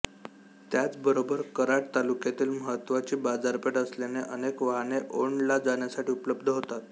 त्याच बरोबर कराड तालुक्यातील महत्त्वाची बाजारपेठ असल्याने अनेक वाहने ओंड ला जाण्यासाठी उपलब्ध होतात